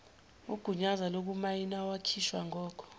ugunyazo lokumayinawakhishwa ngoko